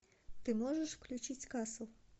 ты можешь включить касл